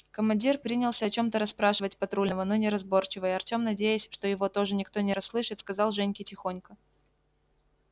командир принялся о чем-то расспрашивать патрульного но неразборчиво и артем надеясь что его тоже никто не расслышит сказал женьке тихонько